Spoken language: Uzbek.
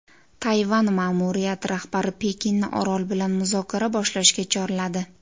Tayvan ma’muriyati rahbari Pekinni orol bilan muzokara boshlashga chorladi.